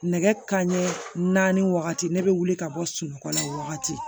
Nɛgɛ kanɲɛ naani wagati ne bɛ wuli ka bɔ sunɔgɔ la o wagati